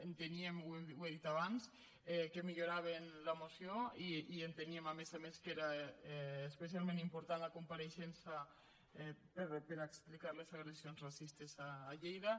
enteníem ho he dit abans que milloraven la moció i enteníem a més a més que era especialment important la compareixença per a explicar les agressions racistes a lleida